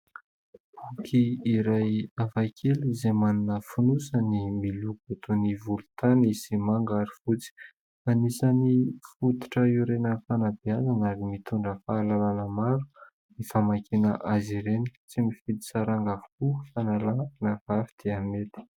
Boky iray hafakely izay manana finosany miloko toy ny volontany sy manga ary fotsy. Anisan'ny fototra iorenan'ny fanabeazana ary mitondra fahalalàna maro ny famakiana azy ireny. Tsy mifidy saranga avokoa fa na lahy na vavy dia mety.